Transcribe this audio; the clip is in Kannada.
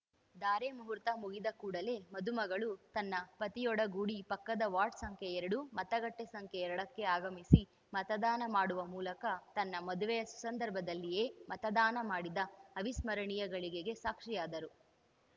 ಧಾರೆ ಮುಹೂರ್ತ ಮುಗಿದ ಕೂಡಲೇ ಮದುಮಗಳು ತನ್ನ ಪತಿಯೊಡಗೂಡಿ ಪಕ್ಕದ ವಾರ್ಡ್‌ ಸಂಖ್ಯೆ ಎರಡು ಮತಗಟ್ಟೆಸಂಖ್ಯೆ ಎರಡಕ್ಕೆ ಆಗಮಿಸಿ ಮತದಾನ ಮಾಡುವ ಮೂಲಕ ತನ್ನ ಮದುವೆಯ ಸುಸಂದರ್ಭದಲ್ಲಿಯೇ ಮತದಾನ ಮಾಡಿದ ಅವಿಸ್ಮರಣೀಯ ಘಳಿಗೆಗೆ ಸಾಕ್ಷಿಯಾದರು